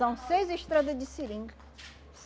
São seis estrada de seringa.